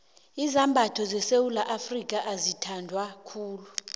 izambatho sesewula afrika azithandwa khulu